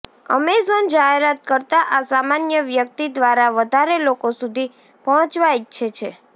Amazon જાહેરાત કરતા આ સામાન્ય વ્યક્તિ દ્વારા વધારે લોકો સુધી પહોંચવા ઈચ્છે છે